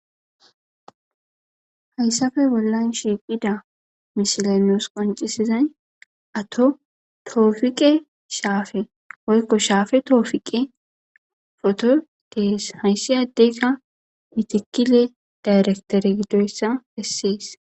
Hayssappe bollan shiiqida misiley nuus qonccisizayssi atto topiqe shaape woykko shaape toshiqe hayssi addeykka mitikile dayrekitere gidoyssa besses